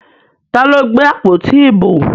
Ta ló gbé àpótí ìbò?